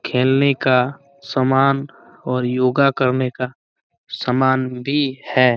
खेलने का समान और योगा करने का समान भी है।